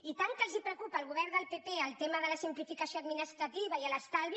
i tant que els preocupa al govern del pp el tema de la simplificació administrativa i l’estalvi